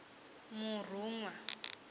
murunwa